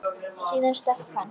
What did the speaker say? Síðan stökk hann.